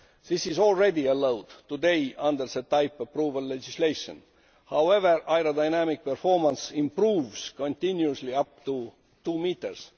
This is already allowed today, under the type approval legislation. However, aerodynamic performance improves continuously up to two metres.